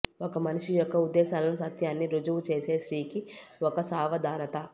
ఒక మనిషి యొక్క ఉద్దేశాలను సత్యాన్ని రుజువు చేసే స్త్రీకి ఒక సావధానత